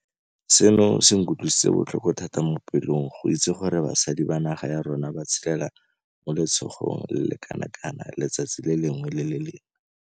Seno se nkutlwisitse botlhoko thata mo pelong go itse gore basadi ba naga ya rona ba tshelela mo letshogong le le kanakana letsatsi le lengwe le le lengwe.